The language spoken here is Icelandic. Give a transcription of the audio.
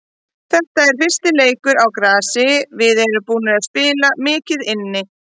Þetta er fyrsti leikur á grasi, við erum búnir að spila mikið inni.